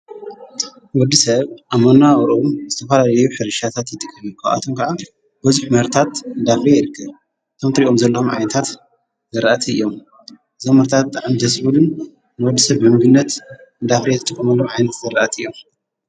ወዲ ሰብ ኣመና ውሮም ዝተፋላልዩ ኅርሻታት ይጥገን ኳኣቶም ከዓ በዙኅ መርታት ዳብ ኢርክ ቶምንትሪኦም ዘሎም ዓይንታት ዘርአቲ እዮም ዘመርታት እንደሥቡሉን ንወዲ ሰብ በንቢነት ብዳብሪየት ጥምሎም ዓይንት ዘርአት እዮም